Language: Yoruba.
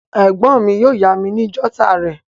Ègbón mi yio yá mi ni jotter rè